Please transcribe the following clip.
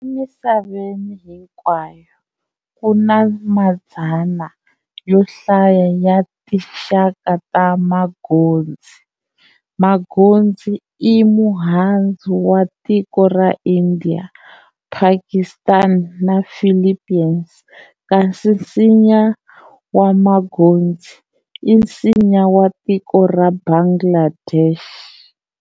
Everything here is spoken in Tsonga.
Emisaveni hinkwayo, ku na madzana yo hlaya ya tinxaka ta manghozi. Manghozi i muhandzu wa tiko ra India, Pakistan na Philippines, kasi nsinya wa manghozi i nsinya wa tiko ra Bangladesh.